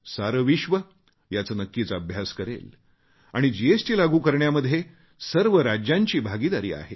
सारे विश्व याचा नक्कीच अभ्यास करेल आणि जीएसटी लागू करण्यामध्ये सर्व राज्यांची भागीदारी आहे